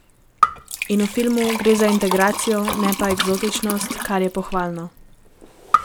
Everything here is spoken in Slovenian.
In v filmu gre za integracijo, ne pa eksotičnost, kar je pohvalno.